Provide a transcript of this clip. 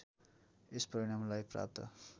यस परिणामलाई प्राप्त